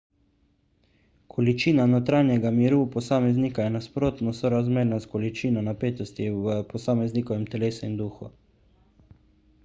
količina notranjega miru posameznika je nasprotno sorazmerna s količino napetosti v posameznikovem telesu in duhu